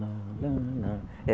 lá, lá, lá. Eh